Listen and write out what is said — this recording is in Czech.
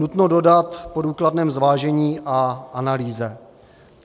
Nutno dodat, po důkladném zvážení a analýze.